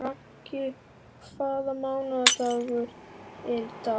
Raggi, hvaða mánaðardagur er í dag?